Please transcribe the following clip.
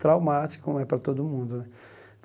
Traumático, como é para todo mundo, né?